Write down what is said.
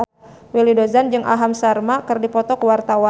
Willy Dozan jeung Aham Sharma keur dipoto ku wartawan